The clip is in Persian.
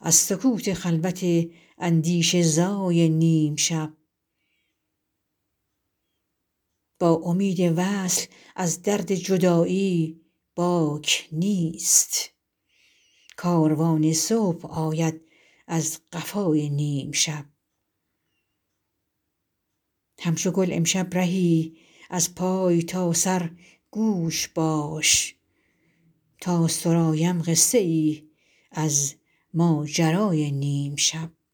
از سکوت خلوت اندیشه زای نیم شب با امید وصل از درد جدایی باک نیست کاروان صبح آید از قفای نیم شب همچو گل امشب رهی از پای تا سر گوش باش تا سرایم قصه ای از ماجرای نیم شب